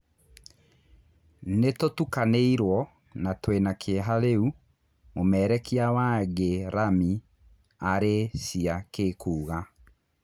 "Nĩ tũtukanĩ irwo na twĩ na kĩ eha rĩ u," mũmererekia wa Ngĩ ramĩ Arĩ cia Ki kuuga.